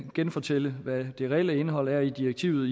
genfortælle hvad det reelle indhold er i direktivet